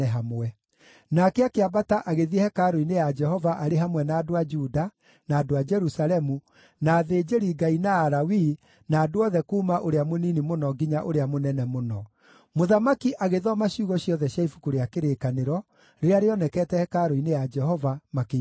Nake akĩambata agĩthiĩ hekarũ-inĩ ya Jehova arĩ hamwe na andũ a Juda, na andũ a Jerusalemu, na athĩnjĩri-Ngai na Alawii na andũ othe kuuma ũrĩa mũnini mũno nginya ũrĩa mũnene mũno. Mũthamaki agĩthoma ciugo ciothe cia Ibuku rĩa Kĩrĩkanĩro, rĩrĩa rĩonekete hekarũ-inĩ ya Jehova, makĩiguaga.